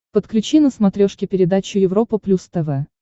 подключи на смотрешке передачу европа плюс тв